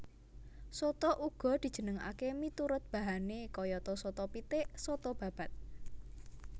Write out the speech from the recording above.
Soto uga dijenengaké miturut bahané kayata soto pitik soto babat